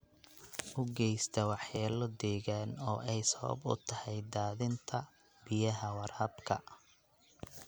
U geysta waxyeello deegaan oo ay sabab u tahay daadinta biyaha waraabka.